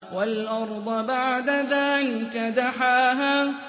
وَالْأَرْضَ بَعْدَ ذَٰلِكَ دَحَاهَا